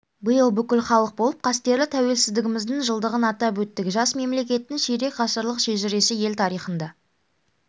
биыл бүкіл халық болып қастерлі тәуелсіздігіміздің жылдығын атап өттік жас мемлекеттің ширек ғасырлық шежіресі ел тарихында